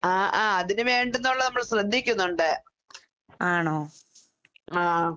ആഹ് ആഹ് അതിന് വേണ്ടുന്നൊള്ളത് നമ്മൾ ശ്രദ്ധിക്കുന്നൊണ്ട്. ആഹ്.